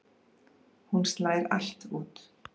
Hún slær allt út.